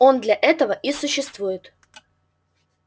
он для этого и существует